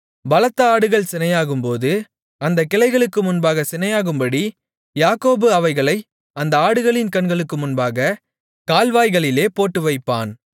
பலத்த ஆடுகள் சினையாகும்போது அந்தக் கிளைகளுக்கு முன்பாக சினையாகும்படி யாக்கோபு அவைகளை அந்த ஆடுகளின் கண்களுக்கு முன்பாகக் கால்வாய்களிலே போட்டுவைப்பான்